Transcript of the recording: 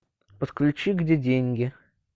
подключи где деньги